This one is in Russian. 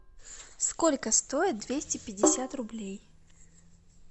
сколько стоит двести пятьдесят рублей